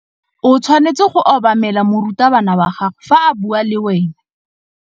O tshwanetse go obamela morutabana wa gago fa a bua le wena.